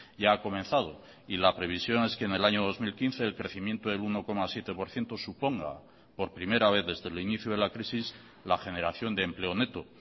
ya ha comenzado y la previsión es que en el año dos mil quince el crecimiento del uno coma siete por ciento suponga por primera vez desde el inicio de la crisis la generación de empleo neto